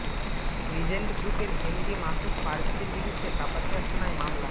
Regent গ্রুপের MD Masud পারভেজের বিরুদ্ধে কাপাসিয়া থানায় মামলা